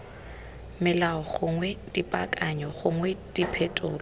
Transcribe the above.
melao gongwe dipaakanyo gongwe diphetolo